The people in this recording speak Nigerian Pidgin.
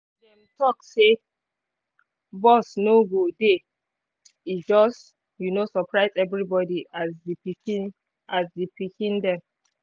dem talk say bus no go dey e just um surprise everybody and the pikiin dem